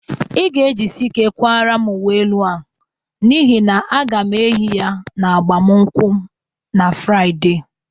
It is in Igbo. Ị ga-ejisi ike kwara m uwe elu a n'ihi na aga m eyi ya n'agbamụnkwm na Fraịde.